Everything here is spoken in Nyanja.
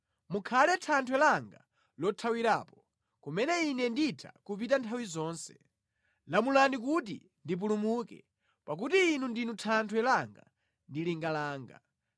Mukhale thanthwe langa lothawirapo, kumene ine nditha kupita nthawi zonse; lamulani kuti ndipulumuke, pakuti Inu ndinu thanthwe langa ndi linga langa.